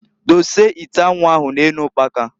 Dose ite anwu ahụ na-enu ukpaka.